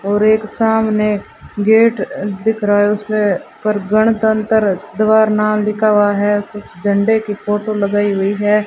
और एक सामने गेट अ दिख रहा है उसमें पर गणतंत्र द्वारा नाम लिखा हुआ है कुछ झंडे की फोटो लगाई हुई है।